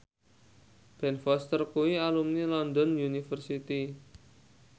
Ben Foster kuwi alumni London University